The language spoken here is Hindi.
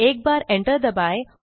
एक बार enter दबाएँ